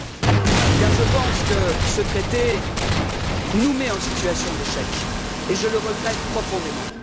Reul car je pense que ce traité nous met en situation d'échec et je le regrette profondément.